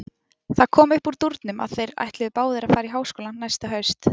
Það kom upp úr dúrnum að þeir ætluðu báðir að fara í háskólann næsta haust.